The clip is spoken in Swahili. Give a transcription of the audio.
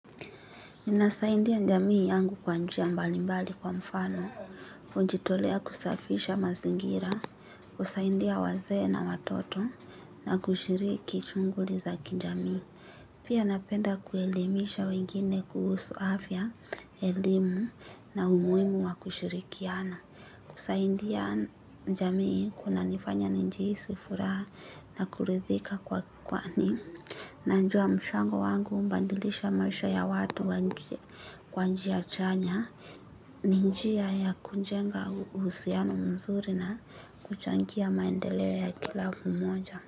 Minasaindia njamii yangu kwa njia mbalimbali kwa mfano, kujitolea kusafisha mazingira, kusaidia wazee na watoto, na kushiriki chunguli za kinjamii. Pia napenda kuelimisha wengine kuhusu afya, elimu na umuimu wa kushirikiana. Kusaidia njamii kuna nifanya njiisi furaa, na kurithika kwa kukwani, nanjua mchango wangu, umbandilisha maisha ya watu kwa njia chanya. Ni njia ya kunjenga usiano mzuri na kuchangia maendeleo ya kila mmoja.